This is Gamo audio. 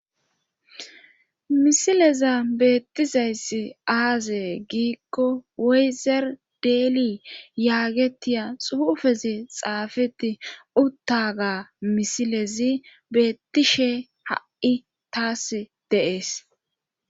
Misileza beettizayssi aazee giikko weyzer deeli yaagetiya xuufezi xaafeti uttaga misilezi beettishe ha7i taas de7ees